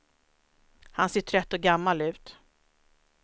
Han ser trött och gammal ut.